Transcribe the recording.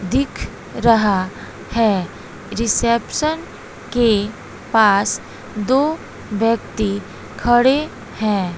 दिख रहा है रिसेप्शन के पास दो व्यक्ति खड़े हैं।